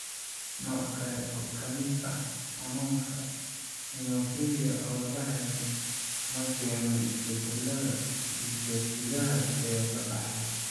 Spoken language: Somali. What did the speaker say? Nooc kale oo ka mid ah xanuunka, hemophilia oo la helay, ma keeno isbeddellada hiddasidaha ee la dhaxlo.